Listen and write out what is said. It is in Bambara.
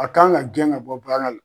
A kan ka gɛn ka bɔ baara la